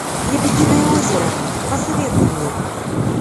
лебединое озеро посоветуй мне